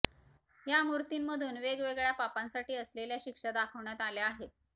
या मूर्तींमधून वेगवेगळ्या पापांसाठी असलेल्या शिक्षा दाखवण्यात आल्या आहेत